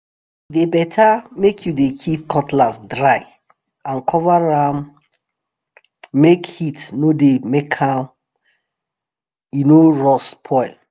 e better make you dey keep cutlass dry and cover am make heat make heat no dey make am e no rough spoil